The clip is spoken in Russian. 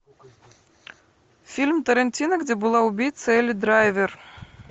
фильм тарантино где была убийцей элли драйвер